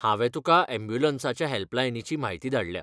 हांवें तुका यॅम्ब्युलंसाच्या हॅल्पलायनीची म्हायती धाडल्या.